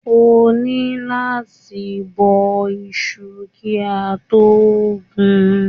Ó ni láti bọ́ọ́ iṣu kí a tó gun.